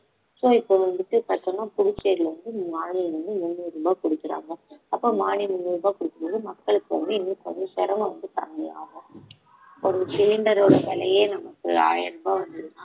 so இப்ப வந்துட்டு பாத்தோம்மா புதுச்சேரியில வந்து மானியம் வந்து முந்நூறு ரூபாய் குடுக்கறாங்க அப்ப மானியம் முந்நூறு ரூபாய் குடுக்கும்போது மக்களுக்கு வந்து இன்னும் கொஞ்சம் சிரமம் வந்து கம்மியாகும் ஒரு cylinder ஓட விலையே நமக்கு ஆயிரம் ரூபாய் வந்ததுனா